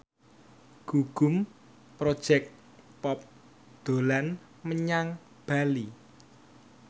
Gugum Project Pop dolan menyang Bali